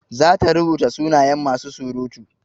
Za ta rubuta sunayen masu surutu.